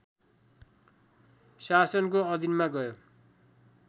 शासनको अधीनमा गयो